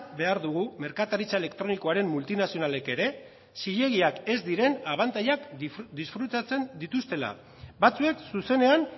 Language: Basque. behar dugu merkataritza elektronikoaren multinazionalek ere zilegiak ez diren abantailak disfrutatzen dituztela batzuek zuzenean